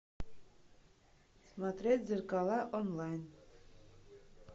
смотреть зеркала онлайн